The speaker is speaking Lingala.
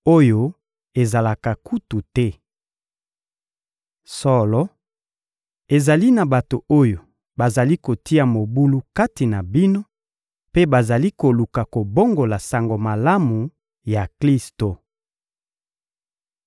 oyo ezalaka kutu te. Solo, ezali na bato oyo bazali kotia mobulu kati na bino mpe bazali koluka kobongola Sango Malamu ya Klisto.